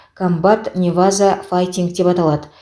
комбат неваза файтинг деп аталады